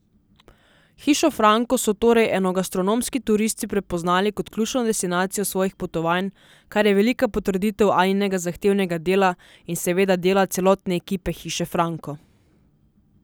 Hišo Franko so torej enogastronomski turisti prepoznali kot ključno destinacijo svojih potovanj, kar je velika potrditev Aninega zahtevnega dela in seveda dela celotne ekipe Hiše Franko.